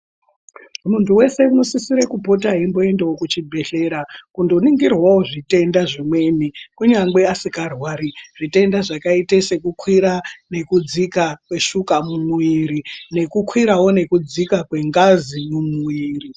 Muntu weshe unosisire kupota eimboendawo kuchibhehlera kundoningirwawo zvitenda zvimweni kungangwe asikarwari zvitenda zvakaite sekukwira nekudzika kweshuka mumwiri nekukwira nekudzikawo kwengazi mumwiri.